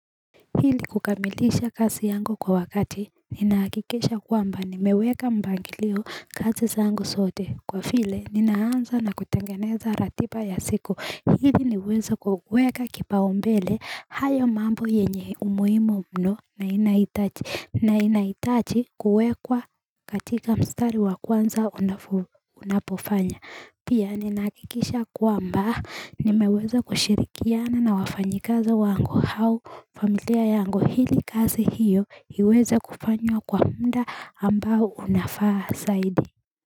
Hili kukamilisha kasi yangu kwa wakati ninaakikisha kwamba nimeweka mpangilio kazi zangu sote kwa file ninaanza na kutengeneza ratiba ya siku hili niweze kuweka kipaumbele hayo mambo yenye umuimu mno na inaitachi na inaitachi kuwekwa katika mstari wa kwanza unapofanya pia ninaakikisha kwamba nimewezo kushirikiana na wafanyikazi wangu hau familia yangu hili kazi hiyo iweza kufanywa kwa mda ambao unafaa saidi.